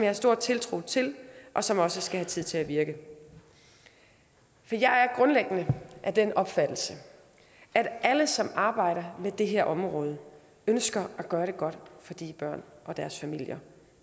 har stor tiltro til og som også skal have tid til at virke jeg er grundlæggende af den opfattelse at alle som arbejder med det her område ønsker at gøre det godt for de børn og deres familier